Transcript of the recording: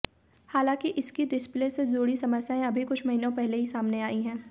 हालाँकि इसकी डिस्प्ले से जुड़ी समस्या अभी कुछ महीनों पहले ही सामने आई है